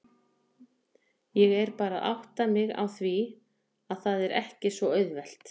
Ég er bara að átta mig á því að það er ekki svo auðvelt.